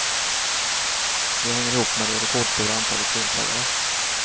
Det hänger ihop med det rekordstora antalet deltagare.